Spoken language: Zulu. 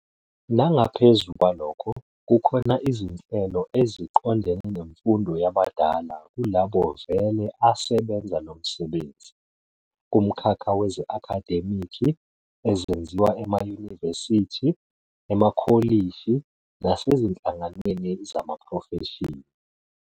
Nangaphezu kwalokho, kukhona izinhlelo eziqondene nemfundo yabadala kulabo vele asebenza lo msebenzi, kumkhakha weze-akhademiki, ezenziwa emayunivesithi, emakholishi nasezinhlanganweni zamaprofeshini.